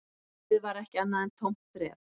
Lífið var ekki annað en tómt þref